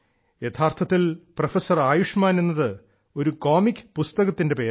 യഥാർത്ഥത്തിൽ പ്രൊഫസർ ആയുഷ്മാൻ എന്നത് ഒരു കോമിക് പുസ്തകത്തിന്റെ പേരാണ്